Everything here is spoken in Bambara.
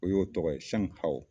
O y'o tɔgɔ ye